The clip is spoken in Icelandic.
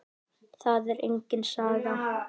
Það er engin saga.